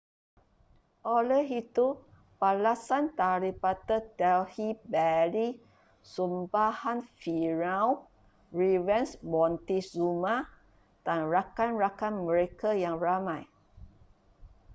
oleh itu balasan daripada delhi belly sumpahan firaun revenge montezuma dan rakan-rakan mereka yang ramai